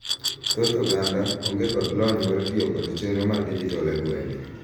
thoth oganda onge kod lony mar tiyo kod chenro mar dijital e ngwenge